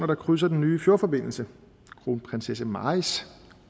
der krydser den nye fjordforbindelse kronprinsesse marys